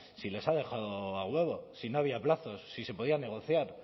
si les he dejado a huevo si no había plazos si se podía negociar